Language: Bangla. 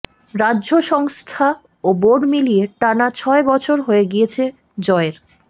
রাজ্য সংস্থা ও বোর্ড মিলিয়ে টানা ছয় বছর হয়ে গিয়েছে জয়ের